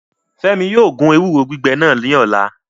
Fẹmi yóò gun ewuro gbigbẹ nas ni ọla